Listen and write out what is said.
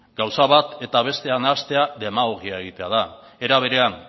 gauza bat eta bestea nahastea demagogia egitea da era berean